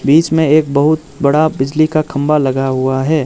बीच में एक बहुत बड़ा बिजली का खंबा लगा हुआ है।